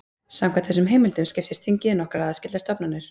Samkvæmt þessum heimildum skiptist þingið í nokkrar aðskildar stofnanir.